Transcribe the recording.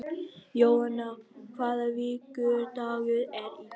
Jóanna, hvaða vikudagur er í dag?